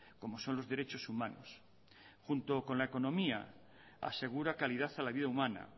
como son los derechos humanos junto con la economía asegura calidad a la vida humana